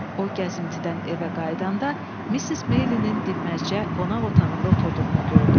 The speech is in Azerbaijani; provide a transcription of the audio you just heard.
O gəzintidən evə qayıdanda Missis Meylinin dinməzcə qonaq otağında oturduğunu gördü.